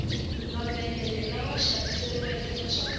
mavhengele lawa xaveriwaka iya swakudya